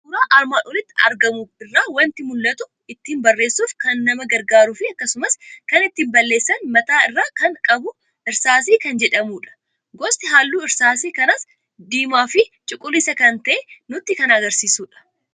Suuraa armaan olitti argamu irraa waanti mul'atu, ittiin barreessu kan nama gargaarufi akkasumas kan ittiin balleessan mataa irraa kan qabu " Irsaasii" kan jedhamudha. Gosti halluu Irsaasii kanaas diimaafi cuquliisa kan ta'e nutti kan agarsiisudha.